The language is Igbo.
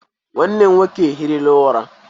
Nwanne m nwoke ehirila ura.